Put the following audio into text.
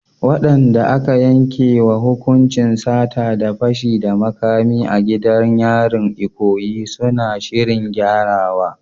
Waɗanda aka yankewa hukuncin sata da fashi da makami a gidan yarin Ikoyi suna shirin gyarawa.